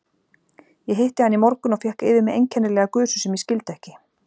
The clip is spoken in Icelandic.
Ég hitti hana í morgun og fékk yfir mig einkennilega gusu sem ég skildi ekki.